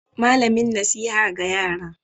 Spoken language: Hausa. Malamin nasiha ga yara.